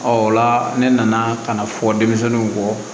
o la ne nana ka na fɔ denmisɛnninw kɔ